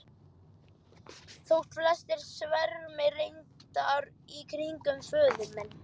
Þótt flestir svermi reyndar í kringum föður minn.